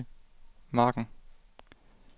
margen